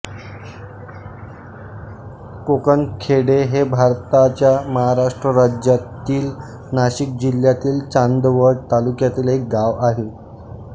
कोकणखेडे हे भारताच्या महाराष्ट्र राज्यातील नाशिक जिल्ह्यातील चांदवड तालुक्यातील एक गाव आहे